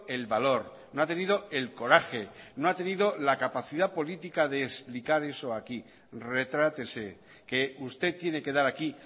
el valor no ha tenido el coraje no ha tenido la capacidad política de explicar eso aquí retrátese que usted tiene que dar aquí